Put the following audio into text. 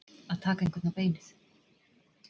Að taka einhvern á beinið